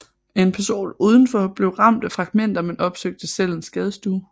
En person udenfor blev ramt af fragmenter men opsøgte selv en skadestue